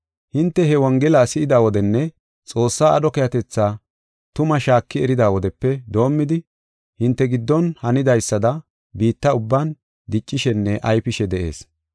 Hinte he Wongela si7ida wodenne Xoossaa aadho keehatetha tumaa shaaki erida wodepe doomidi hinte giddon hanidaysada biitta ubban diccishenne ayfishe de7ees.